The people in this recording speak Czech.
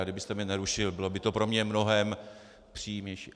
A kdybyste mně nerušil, bylo by to pro mě mnohem příjemnější.